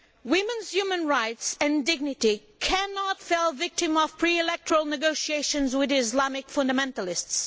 Women's human rights and dignity cannot fall victim to pre electoral negotiations with Islamic fundamentalists.